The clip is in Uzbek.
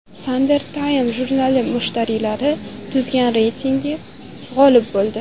Sanders Time jurnali mushtariylari tuzgan reytingda g‘olib bo‘ldi.